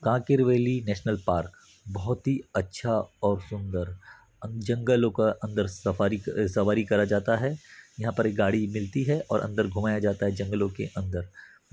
Kanker valley national park बहुत ही अच्छा और सुंदर जंगलों का अंदर सफारी अ सवारी कराया जाता है यहाँ पर गाड़ी मिलती है और अंदर घुमाया जाता है जंगलों के अंदर --